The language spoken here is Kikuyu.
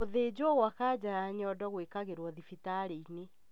Gũthĩnjwo gwa kanja ya nyondo gwĩkagĩrwo thibitarĩ-inĩ